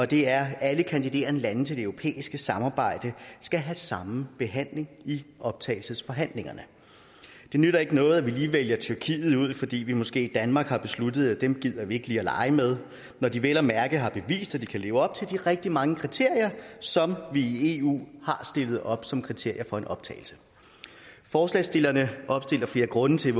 det er at alle kandiderende lande til det europæiske samarbejde skal have samme behandling i optagelsesforhandlingerne det nytter ikke noget at vi lige vælger tyrkiet ud fordi vi måske i danmark har besluttet at dem gider vi ikke lege med når de vel at mærke har bevist at de kan leve op til rigtig mange kriterier som vi i eu har stillet op som kriterier for optagelse forslagsstillerne opstiller flere grunde til at